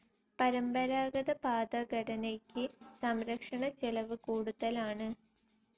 പരമ്പരാഗത പാത ഘടനയ്ക്ക് സംരക്ഷണ ചെലവ് കൂടുതലാണ്.